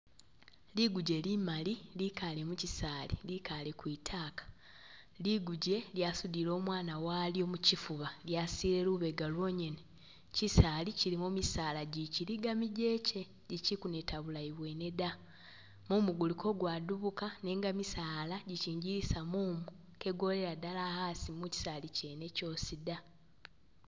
Liguje limali likale mu chisali, likale kwitaka, liguje lyasudile umwana walyo muchifuba, lya silile lubega lwonyene, chisali chilimo misaala gyikiliga migyeke lichi kuneta bulayi bwene da, mumu guli ka gwadubuka nenga misaala gyichingilisa mumu kegwolela dala asi muchisali chene chosi da.